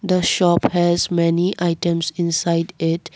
the shop has many items inside it.